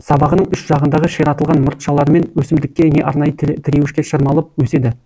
сабағының үш жағындағы ширатылған мұртшаларымен өсімдікке не арнайы тіреуішке шырмалып өседі